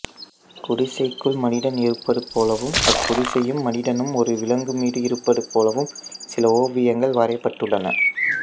குடிசைக்குள் மனிதன் இருப்பது போலவும் அக்குடிசையும் மனிதனும் ஒரு விலங்குமீது இருப்பது போலவும் சில ஓவியங்கள் வரையப்பட்டுள்ளன